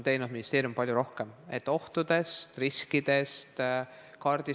Tänaseks on ministeerium teinud palju rohkem, et ohtudest ja riskidest teada saada.